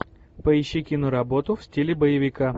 поищи киноработу в стиле боевика